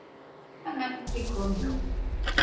En ekki kom Jón.